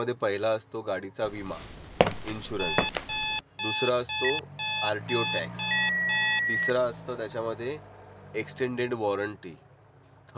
आवश्यक गोष्टी फक्त आरटीओ टॅक्स आणि इन्शुरन्स हेच आहेत. आणि इन्शुरन्समध्ये पण आता काय प्रकार आहेत ते पण मी तुला सांगतो. आता तू पहिल्या ह्या सगळ्या गोष्टी बघायच्या, काय करायचं माहितेय.